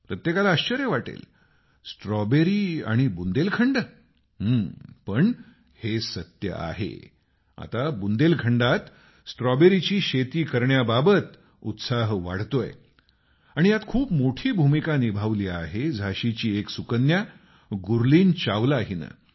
प्रत्येकाला आश्चर्य वाटेल स्ट्रॉबेरी आणि बुंदेलखंड पण हे सत्य आहे आता बुंदेलखंडात स्ट्रॉबेरीची शेती करण्याबाबत उत्साह वाढतोय आणि यात खूप मोठी भूमिका निभावली आहे झाशीची एक सुपुत्री गुरलीन चावला हिनं